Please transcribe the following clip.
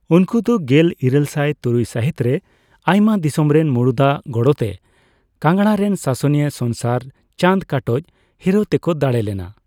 ᱩᱱᱠᱩ ᱫᱚ ᱜᱮᱞᱤᱨᱟᱹᱞᱥᱟᱭ ᱛᱩᱨᱩᱭ ᱥᱟᱹᱦᱤᱛ ᱨᱮ ᱟᱭᱢᱟ ᱫᱤᱥᱚᱢ ᱨᱮᱱ ᱢᱩᱲᱩᱫ ᱟᱜ ᱜᱚᱲᱚᱛᱮ ᱠᱟᱝᱲᱟᱨᱮᱱ ᱥᱟᱥᱚᱱᱤᱭᱟᱹ ᱥᱚᱝᱥᱟᱨ ᱪᱟᱸᱫ ᱠᱟᱴᱳᱪ ᱦᱤᱨᱟᱹᱣ ᱛᱮᱠᱚ ᱫᱟᱲᱮ ᱞᱮᱱᱟ ᱾